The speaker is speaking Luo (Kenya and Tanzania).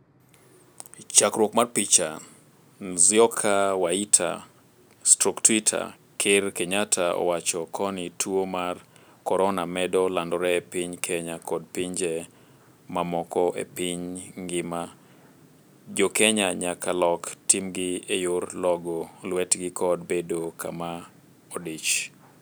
Chakruok mar picha, Nzioka Waita/Twitter. Ker Kenyatta owacho koni tuo mar korona medo landore e piny Kenya kod pinje mamoko e piny ngima, jokenya nyaka lok timgi e yor logo lwetgi kod bedo kama odich.